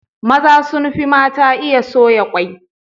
Maza sun fi mata iya soya kwai.